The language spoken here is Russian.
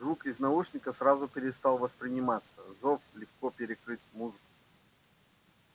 звук из наушников сразу перестал восприниматься зов легко перекрыл музыку